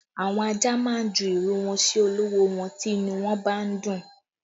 Àwọn ajá má ń ju ìrù wọn sí olówó wọn tí inú wọn bá ń dùn